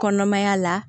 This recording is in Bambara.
Kɔnɔmaya la